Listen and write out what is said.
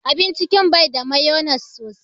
Abin cikin bai da mayonnaise sosai.